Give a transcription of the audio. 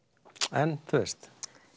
en þú veist